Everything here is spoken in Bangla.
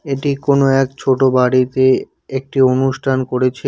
এটি কোনো এক ছোটো বাড়িতে একটি অনুষ্ঠান করেছে।